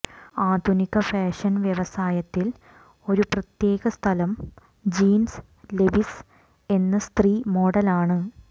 ആധുനിക ഫാഷൻ വ്യവസായത്തിൽ ഒരു പ്രത്യേക സ്ഥലം ജീൻസ് ലെവിസ് എന്ന സ്ത്രീ മോഡലാണ്